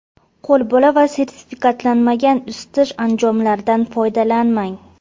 Qo‘lbola va sertifikatlanmagan isitish anjomlaridan foydalanmang.